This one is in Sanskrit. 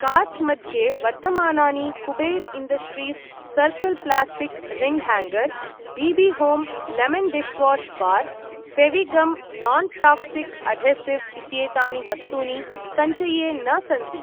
कार्ट् मध्ये वर्तमानानि Kuber industries circle plastic ring hanger , B B Home lemon dishwash bar , Fevigum non toxic adhesive इत्येतानि वस्तूनि सञ्चये न सन्ति।